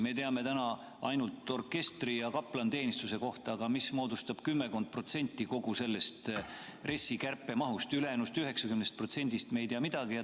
Me teame täna ainult orkestri ja kaplaniteenistuse kohta, aga see moodustab kümmekond protsenti kogu RES-i kärpemahust, ülejäänud 90%-st me ei tea midagi.